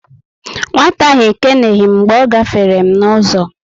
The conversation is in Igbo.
Nwata ahụ ekeneghi m mgbe ọ gáfèrè m n'uzo